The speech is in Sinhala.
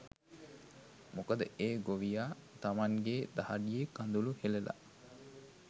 මොකද ඒ ගොවියා තමන්ගේ දහඩිය කඳුළු හෙළලා